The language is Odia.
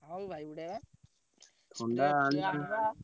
ହଁ ଭାଇ ଉଡେଇବା।